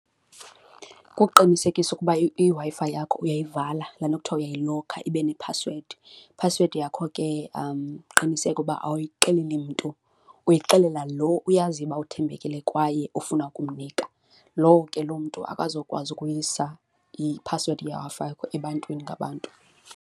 Kukuqinisekisa ukuba iWi-Fi yakho uyivala, laa nto kuthiwa uyayilokha ibe nephasiwedi. Iphasiwedi yakho ke uqiniseke ukuba awuyixeleli mntu, uyixelelwa lo uyaziyo uba uthembekile kwaye ufuna ukumnika, lowo ke lo mntu akazukwazi ukuyisa iphasiwedi yeWi-Fi ebantwini ngabantu.